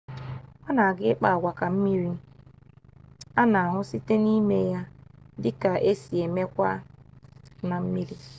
ona aga ikpa-agwa ka mmiri ana-ahu site nime ya dika esi emekwa na mmiri